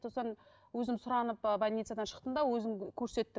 сосын өзім сұранып больницадан шықтым да өзім көрсеттім